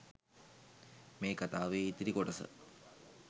මේ කතාවේ ඉතිරි කොටස